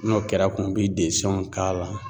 N'o kɛra kun bɛ k'a la.